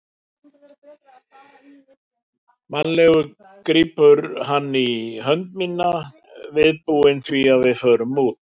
Mannalegur grípur hann í hönd mína, viðbúinn því að við förum út.